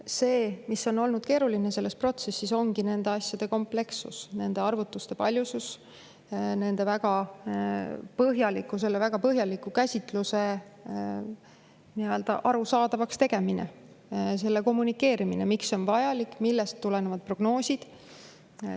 See, mis on olnud keeruline selles protsessis, ongi nende asjade komplekssus, nende arvutuste paljusus, selle väga põhjaliku käsitluse arusaadavaks tegemine, selle kommunikeerimine, miks see on vajalik, millest tulenevad prognoosid.